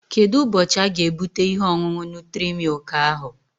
Kedụ ụbọchị aga-ebute ihe ọṅụṅụ nutri-milk ahụ?